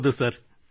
ಹೌದು ಸರ್